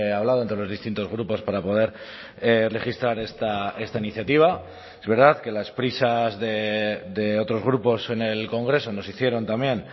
hablado entre los distintos grupos para poder registrar esta iniciativa es verdad que las prisas de otros grupos en el congreso nos hicieron también